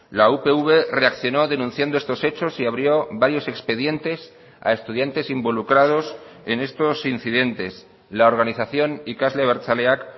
la upv reaccionó denunciando estos hechos y abrió varios expedientes a estudiantes involucrados en estos incidentes la organización ikasle abertzaleak